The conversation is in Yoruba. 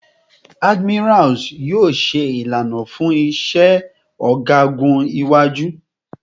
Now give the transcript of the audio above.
Admirals yoo ṣe ilana fun iṣẹ ọgagun iwaju